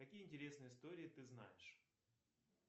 какие интересные истории ты знаешь